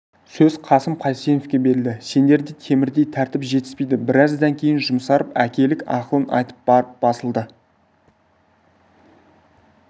сөз қасым қайсеновке берілді сендерде темірдей тәртіп жетіспейді біраздан кейін жұмсарып әкелік ақылын айтып барып басылды